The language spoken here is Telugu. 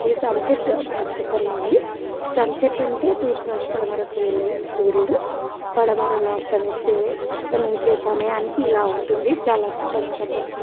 ఈ సన్ సెట్ అబ్బ సూపర్ గా ఉంది. సన్ సెట్ అంటే తూర్పు నుంచి పడమరకు వెళ్లే సూర్యుడు. పడమరలో అస్తమిస్తే అస్తమించు సమయానికి ఇలా ఉంటుంది. చాలా అద్భుతంగా కనబడుతుంది.